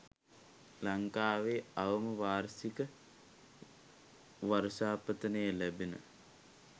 ලංකාවේ අවම වාර්ෂික වර්ෂාපතනය ලැබෙන